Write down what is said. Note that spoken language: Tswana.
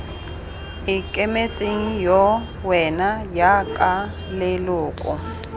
ikemetseng yo wena jaaka leloko